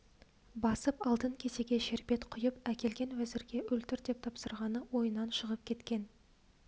басып алтын кесеге шербет құйып әкелген уәзірге өлтір деп тапсырғаны ойынан шығып кеткен